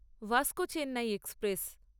Vasco Chennai express